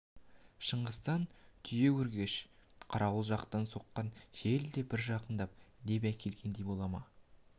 шыңғыстан түйеөркеш қарауыл жақтан соққан жел де бір жақындық леп әкелгендей бола ма